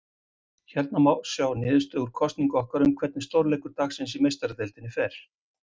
Hérna má sjá niðurstöðu úr kosningu okkar um hvernig stórleikur dagsins í Meistaradeildinni fer.